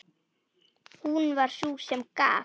Hún var sú sem gaf.